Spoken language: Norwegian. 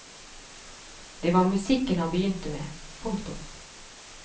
Det var musikken han begynte med. punktum